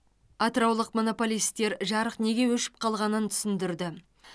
атыраулық монополистер жарық неге өшіп қалғанын түсіндірді